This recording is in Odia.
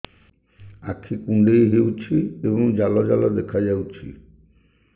ଆଖି କୁଣ୍ଡେଇ ହେଉଛି ଏବଂ ଜାଲ ଜାଲ ଦେଖାଯାଉଛି